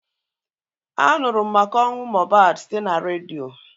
A nụrụ m maka ọnwụ Mohbad site n'redio